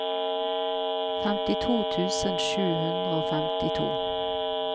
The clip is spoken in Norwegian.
femtito tusen sju hundre og femtito